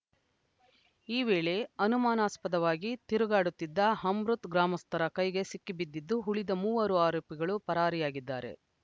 ಈ ವೇಳೆ ಅನುಮಾನಾಸ್ಪದವಾಗಿ ತಿರುಗಾಡುತ್ತಿದ್ದ ಅಮೃತ್‌ ಗ್ರಾಮಸ್ಥರ ಕೈಗೆ ಸಿಕ್ಕಿಬಿದ್ದಿದ್ದು ಉಳಿದ ಮೂವರು ಆರೋಪಿಗಳು ಪರಾರಿಯಾಗಿದ್ದಾರೆ